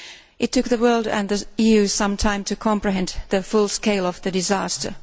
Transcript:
It took the world and the EU some time to comprehend the full scale of the disaster.